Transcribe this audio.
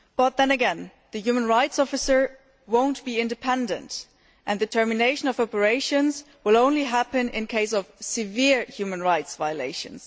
Then again, the human rights officer will not be independent and the termination of operations will only happen in cases of severe human rights violations.